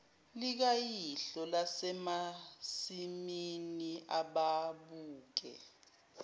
likayihlo lasemasimini ababuke